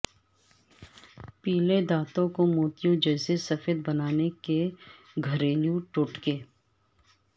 پیلے دانتوں کوموتیوں جیسے سفید بنانے کے گھریلو ٹوٹکے